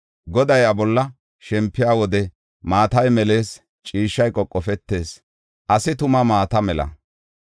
Godaa iya bolla shempiya wode, maatay melees; ciishshay qoqofetees; asi tuma maata mela.